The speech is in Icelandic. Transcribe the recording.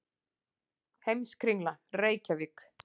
Heimskringla, Reykjavík.